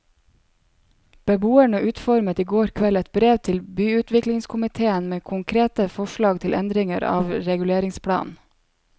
Beboerne utformet i går kveld et brev til byutviklingskomitéen med konkrete forslag til endringer av reguleringsplanen.